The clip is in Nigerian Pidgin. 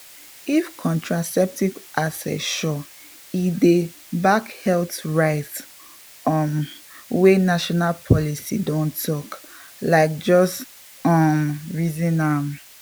if contraceptive access sure e dey back health rights um wey national policies don talk — like just um reason am small.